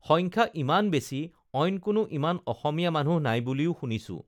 সংখ্যা ইমান বেছি অইন কোনো ইমান অসমীয়া মানু্হ নাই বুলিও শুনিছোঁ